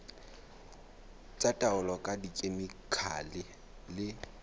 tsa taolo ka dikhemikhale le